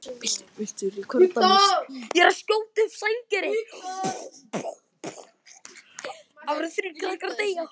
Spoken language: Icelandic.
Ekkert var velkomnara inn á heimili okkar en blessaður friðurinn.